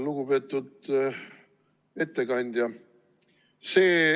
Lugupeetud ettekandja!